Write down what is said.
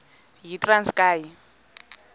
yitranskayi